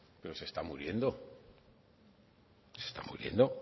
pero se está muriendo se está muriendo